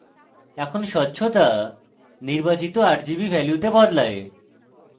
এখন স্বচ্ছতা নির্বাচিত rgb ভ্যালুতে বদলায়